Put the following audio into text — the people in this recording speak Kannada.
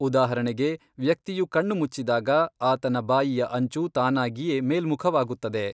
ಉದಾಹರಣೆಗೆ, ವ್ಯಕ್ತಿಯು ಕಣ್ಣು ಮುಚ್ಚಿದಾಗ, ಆತನ ಬಾಯಿಯ ಅಂಚು ತಾನಾಗಿಯೇ ಮೇಲ್ಮುಖವಾಗುತ್ತದೆ.